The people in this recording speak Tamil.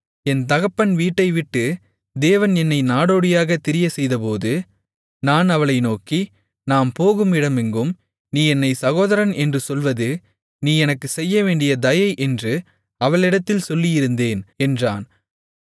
என் தகப்பன் வீட்டைவிட்டு தேவன் என்னைத் நாடோடியாகத் திரியச்செய்தபோது நான் அவளை நோக்கி நாம் போகும் இடமெங்கும் நீ என்னைச் சகோதரன் என்று சொல்வது நீ எனக்குச் செய்யவேண்டிய தயை என்று அவளிடத்தில் சொல்லியிருந்தேன் என்றான்